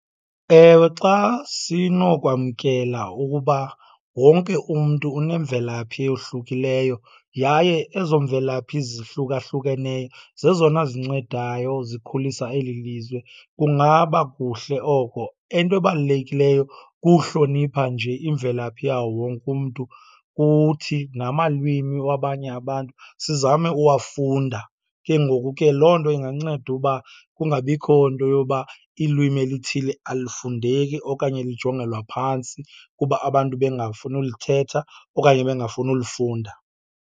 Ewe, xa sinokwamkela ukuba wonke umntu unemvelaphi eyohlukileyo yaye ezo mvelaphi zihlukahlukeneyo zezona zincedayo zikhulisa eli lizwe, kungaba kuhle oko. Into ebalulekileyo kuhlonipha nje imvelaphi yawo wonke umntu, kuthi namalwimi wabanye abantu sizame uwafunda. Ke ngoku ke loo nto inganceda uba kungabikho nto yoba ilwimi elithile alufundeki okanye lijongelwa phantsi kuba abantu bengafuni ulithetha okanye bengafuni ulifunda.